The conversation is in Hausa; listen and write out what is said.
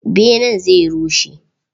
Benen zai rushe.